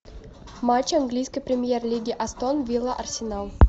матч английской премьер лиги астон вилла арсенал